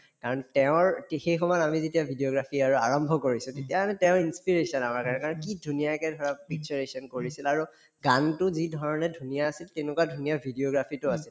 কাৰণ তেওঁৰ তে সেই সময়ত আমি যেতিয়া videography আৰু আৰম্ভ কৰিছো তেতিয়া তেওঁ inspiration আমাৰ কাৰণে কাৰণ কি ধুনীয়াকে ধৰক কৰিছিল আৰু গানতো যিধৰণে ধুনীয়া আছিল তেনেকুৱা ধুনীয়া videography তো আছিল